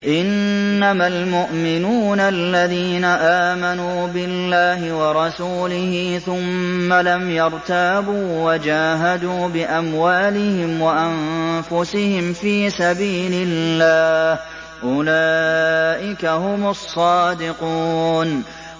إِنَّمَا الْمُؤْمِنُونَ الَّذِينَ آمَنُوا بِاللَّهِ وَرَسُولِهِ ثُمَّ لَمْ يَرْتَابُوا وَجَاهَدُوا بِأَمْوَالِهِمْ وَأَنفُسِهِمْ فِي سَبِيلِ اللَّهِ ۚ أُولَٰئِكَ هُمُ الصَّادِقُونَ